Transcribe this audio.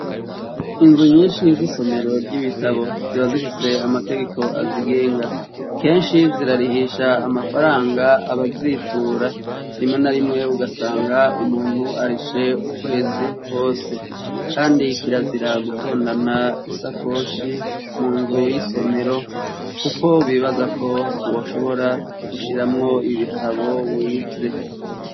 Inzu nyinshi z'isomero ry'ibitabo. Zikaba zifise amategeko azigenga. Kenshi, zirarihisha amafaranga abazitura. Rimwe na rimwe ugasanga umuntu arishe ukwezi kwose. Kandi kirazira gutondana isakoshi mu nzu y'isomero, kuko bibaza ko woshobora gushiramwo ibitabo wivye.